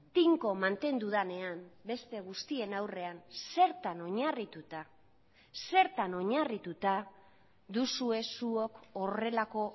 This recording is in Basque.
tinko mantendu denean beste guztien aurrean zertan oinarrituta zertan oinarrituta duzue zuok horrelako